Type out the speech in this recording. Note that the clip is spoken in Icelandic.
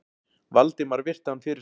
Valdimar virti hann fyrir sér.